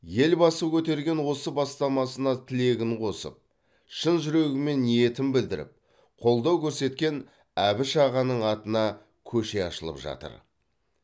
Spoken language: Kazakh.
елбасы көтерген осы бастамасына тілегін қосып шын жүрегімен ниетін білдіріп қолдау көрсеткен әбіш ағаның атына көше ашылып жатыр